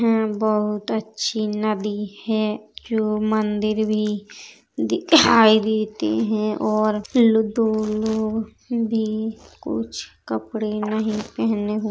बहुत अच्छी नदी है जो मंदिर भी दिखाई देती है और दो लोग भी कुछ कपड़े नहीं पहने हुए --